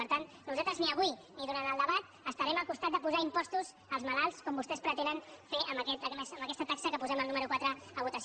per tant nosaltres ni avui ni durant el debat estarem al costat de posar impostos als malalts com vostès pretenen fer amb aquesta taxa que posem al número quatre a votació